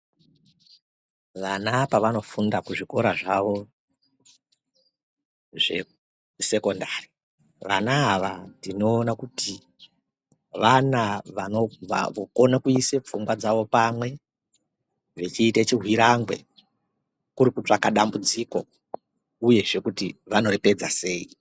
Vana pavanofunda kuzvikora zvavo zvesekondari. Vana ava tinoona kuti vana vokona kuisa pfungwa dzavo pamwe vechiite chihwirangwe kuri kutsvaka dambudziko, uyezve kuti vanoripedza sei.